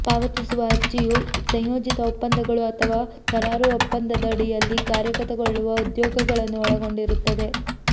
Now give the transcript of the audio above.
ಪಾವತಿಸುವ ಅರ್ಜಿಯು ಸಂಯೋಜಿತ ಒಪ್ಪಂದಗಳು ಅಥವಾ ಕರಾರು ಒಪ್ಪಂದದಡಿಯಲ್ಲಿ ಕಾರ್ಯಗತಗೊಳ್ಳುವ ಉದ್ಯೋಗಗಳನ್ನು ಒಳಗೊಂಡಿರುತ್ತದೆ